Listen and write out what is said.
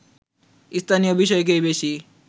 স্থানীয় বিষয়কেই বেশি